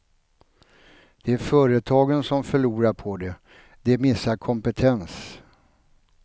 Det är företagen som förlorar på det, de missar kompetens.